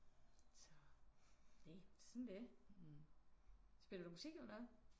Så næ sådan er det. Spiller du musik eller noget?